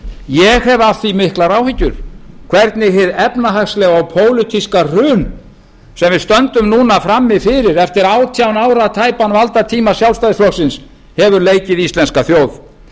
ég hef af því miklar áhyggjur hvernig hið efnahagslega og pólitíska hrun sem við stöndum núna frammi fyrir eftir tæpan átján ára valdatíma sjálfstæðisflokksins hefur leikið íslenska þjóð